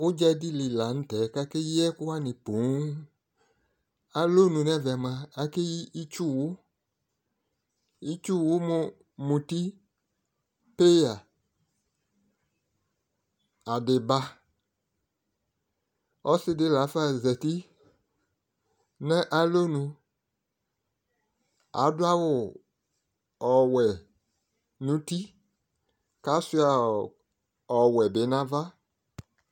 udza di li lantɛ ko akeyi ɛko wani ponŋ alɔnu no ɛvɛ moa akeyi itsu wo itsu wo mo muti peya adeba ɔse di lafa zati no alɔnu ado awu ɔwɛ no uti ko asua ɔwɛ bi no ava